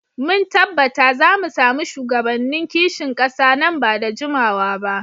Mun tabbata za mu sami shugabannin kishin kasa nan ba da jimawa ba.